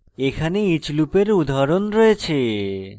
এখানে each লুপের উদাহরণ রয়েছে